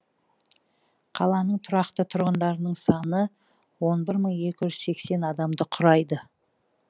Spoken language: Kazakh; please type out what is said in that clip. қаланың тұрақты тұрғындарының саны он бір мың екі жүз сексен адамды құрайды